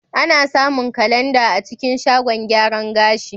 Ana samun kalandar a cikin shagon gyaran gashi.